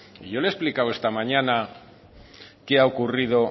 y yo le he explicado esta mañana qué ha ocurrido